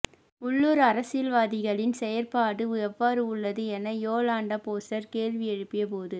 உள்ளுர் அரசியல்வாதிகளின் செயற்பாடு எவ்வாறு உள்ளது எனக் யோலன்டா போஸ்டர் கேள்வி எழுப்பிய போது